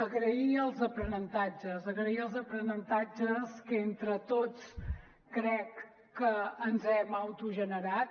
agrair els aprenentatges agrair els aprenentatges que entre tots crec que ens hem autogenerat